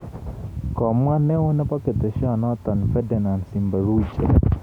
Komwa neoo nebo ketesyenoto Ferdinant Simbaruhije